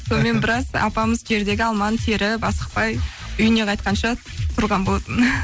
сонымен біраз апамыз жердегі алманы теріп асықпай үйіне қайтқанша тұрған болатынмын